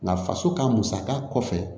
Nka faso ka musaka kɔfɛ